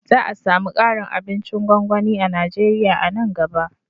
Za a sami ƙarin abincin gwangwani a Najeriya a nan gaba